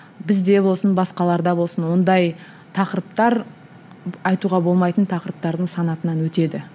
бізде болсын басқаларда болсын ондай тақырыптар айтуға болмайтын тақырыптардың санатынан өтеді